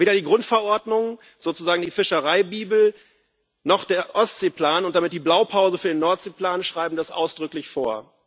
Weder die Grundverordnung sozusagen die Fischereibibel noch der Ostseeplan und damit die Blaupause für den Nordseeplan schreiben das ausdrücklich vor.